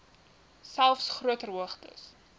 selfs groter hoogtes